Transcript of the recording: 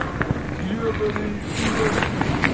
гребанный эскибастуз